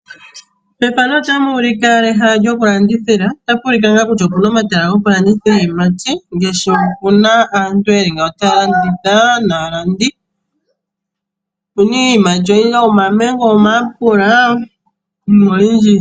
Methano otamu ulike ehala lyoku landithila otapu ulike kutya opu na omatala goku landithila iiyimati ngaashi puna aantu yeli nga taya landitha naalandi opuna iiyimati oyindji, opuna omamengo, omayapela iinima oyindji.